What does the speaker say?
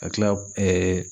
Ka tila